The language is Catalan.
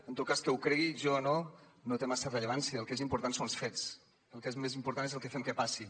en tot cas que ho cregui jo o no no té massa rellevància el que és important són els fets el que és més important és el que fem que passi